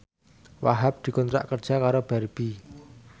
Wahhab dikontrak kerja karo Barbie